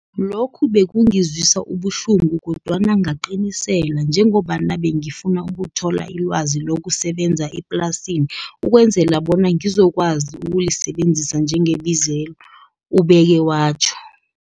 Lokho bekungizwisa ubuhlungu kodwana ngaqiniselela njengombana bengifuna ukuthola ilwazi lokusebenza eplasini ukwenzela bona ngizokwazi ukulisebenzisa njengebizelo, ubeke watjho.